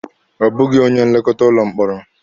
Ọ bụghị onye nlekọta ụlọ mkpọrọ.